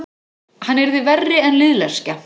Hann yrði verri en liðleskja.